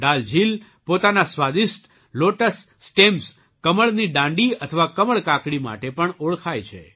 ડલ ઝીલ પોતાના સ્વાદિષ્ટ લૉટસ સ્ટેમ્સ કમલની દાંડી અથવા કમળ કાકડી માટે પણ ઓળખાય છે